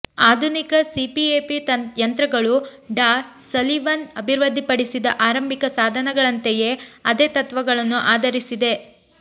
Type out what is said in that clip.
ಆಧುನಿಕ ಸಿಪಿಎಪಿ ಯಂತ್ರಗಳು ಡಾ ಸಲಿವನ್ ಅಭಿವೃದ್ಧಿಪಡಿಸಿದ ಆರಂಭಿಕ ಸಾಧನಗಳಂತೆಯೇ ಅದೇ ತತ್ವಗಳನ್ನು ಆಧರಿಸಿದೆ